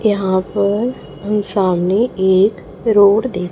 यहाँ पर मेरे सामने एक रोड दे--